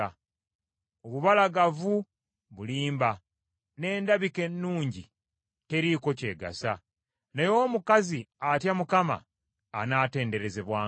Obubalagavu bulimba n’endabika ennungi teriiko kyegasa, naye omukazi atya Mukama anaatenderezebwanga.